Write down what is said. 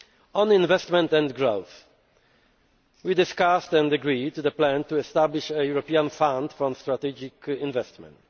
On investment and growth, we discussed and agreed the plan to establish a European Fund for Strategic Investment.